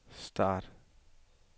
start